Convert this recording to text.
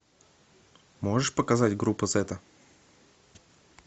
можешь показать группа зета